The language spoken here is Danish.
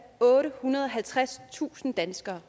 ottehundrede og halvtredstusind danskere